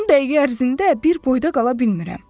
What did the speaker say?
10 dəqiqə ərzində bir boyda qala bilmirəm.